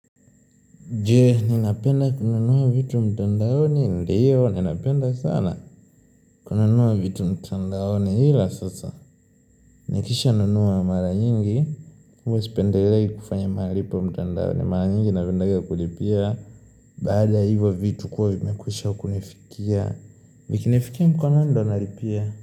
Je, ninapenda kunanua vitu mtandaoni ndiyo, ninapenda sana kuna nua vitu mtandaoni hila sasa. Nikisha nunuwa mara nyingi, huwa sipendelei kufanya malipo mtandaoni, mara nyingi napendanga kulipia. Baada ya hivyo vitu kuwa vimekwisha kunifikia, vikinifikia mkononi ndio nalipia.